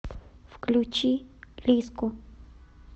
включи лиззку